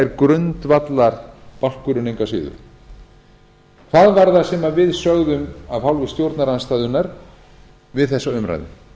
er grundvallarbálkurinn engu að síður hvað var það sem við sögðum af hálfu stjórnarandstöðunnar við þessa umræðu